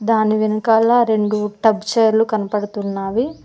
దాని వెనకాల రెండు టబ్ చైర్లు కనపడుతున్నావి.